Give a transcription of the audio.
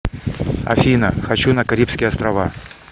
афина хочу на карибские острава